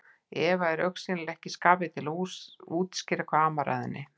Eva er augsýnilega ekki í skapi til að útskýra hvað amar að henni.